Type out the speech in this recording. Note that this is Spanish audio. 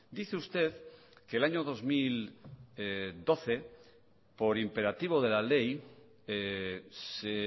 dice usted que el año dos mil doce por imperativo de la ley se